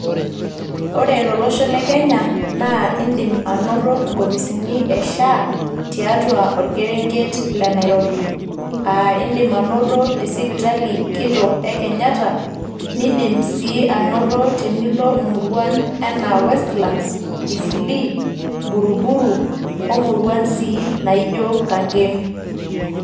Ore tolosho le kenya naa indim anoto nkopisini e SHA tiatua orkerenget le Nairobi aa indim anoto te sipitali kitok e Kenyatta nindim sii anoto tenilo murruan enaa Westlands ,Easthleigh ,Buruburu omuruan sii naijo Kangemi